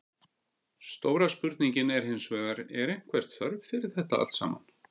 Stóra spurningin er hinsvegar, er einhver þörf fyrir þetta allt saman?